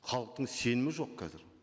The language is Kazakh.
халықтың сенімі жоқ қазір